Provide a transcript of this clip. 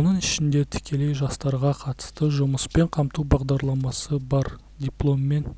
оның ішінде тікелей жастарға қатысты жұмыспен қамту бағдарламасы бар дипломмен